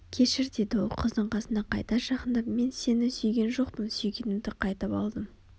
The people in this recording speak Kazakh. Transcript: кешір деді ол қыздың қасына қайта жақындап мен сені сүйген жоқпын сүйгенімді қайтып алдым